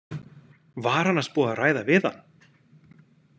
Var annars búið að ræða við hann?